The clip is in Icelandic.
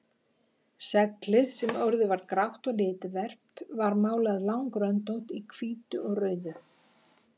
Seglið sem orðið var grátt og litverpt var málað langröndótt í hvítu og rauðu.